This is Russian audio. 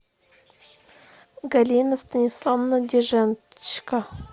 галина станиславовна дижечко